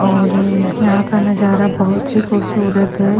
और यहां का नजारा बहोत ही खूबसूरत है।